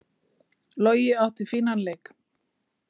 Logi átti fínan leik